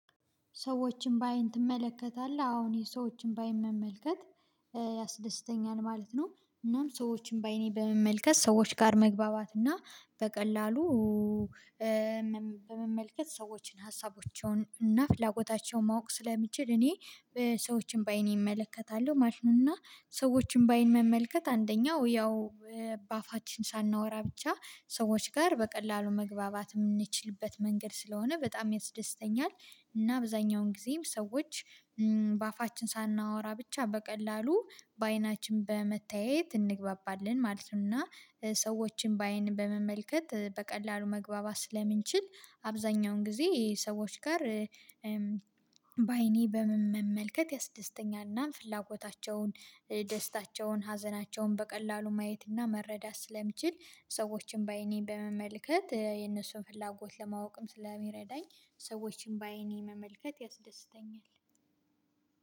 "ሰዎችን ባይን ትመለከታለህ?" አዎ እኔ ሰዎችን ባይን መመልከት ያስደስተኛል ማለት ነው። እናም ሰዎችን በአይኔ በመመልከት ሰዎች ጋር መግባባት እና በቀላሉ በመመልከት ሰዎችን ሀሳቦቻቸውን እና ፍላጎታቸውን ማወቅ ስለምችል እኔ ሰዎችን በአይኔ እመለከታለሁ። ማሽንን እና ሰዎችን ባይን መመልከት አንደኛው ያው በአፋችን ሳናወራ ብቻ ሰዎች ጋር በቀላሉ መግባባት የምንችልበት መንገድ ስለሆነ በጣም ያስደስተኛል። እና አብዛኛውን ጊዜም ሰዎች በአፋችን ሳናወራ ብቻ በቀላሉ በአይናችን በመተያየት እንግባባለን ማለት ነው። እና ሰዎችን ባይን በመመልከት በቀላሉ መግባባት ስለምንችል አብዛኛውን ጊዜ ሰዎች ጋር በአይኔ በመመልከት ያስደስተኛል እና ፍላጎታቸውን፣ ደስታቸውን፣ ሀዘናቸውን በቀላሉ ማየት እና መረዳት ስለምችል ሰዎችን በአይኔ በመመልከት የነሱን ፍላጎት ለማወቅም ስለሚረዳኝ ሰዎችን ባይኔ መመልከት ያስደስተኛል።